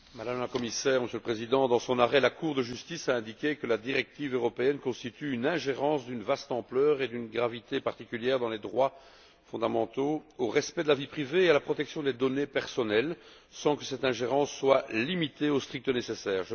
Monsieur le Président, Madame la Commissaire, dans son arrêt la Cour de justice a indiqué que la directive européenne constitue une ingérence d'une vaste ampleur et d'une gravité particulière dans les droits fondamentaux, dans le respect de la vie privée et dans la protection des données personnelles, sans que cette ingérence soit limitée au strict nécessaire.